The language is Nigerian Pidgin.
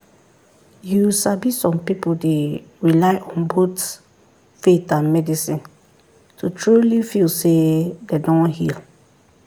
you sabi some people dey rely on both faith and medicine to truly feel say dem don heal.